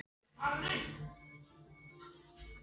Þú ættir að láta þessi grey eiga sig, Haraldur